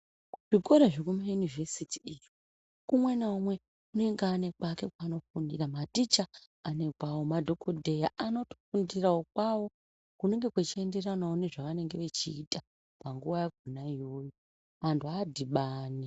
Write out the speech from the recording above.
Zvikora zvekumaUniversity iyo umwe naumwe unenge une kwake kwaanenge eifundira. Maticha anekwawo. Madhokodheya anotofundirawo kwawo kunenge kuchienderana nezvavanenge vachiita panguwa yakhona iyoyo vantu avadhibani.